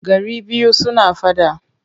Gari biyu suna faɗa.